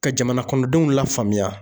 Ka jamanakɔnɔdenw lafaamuya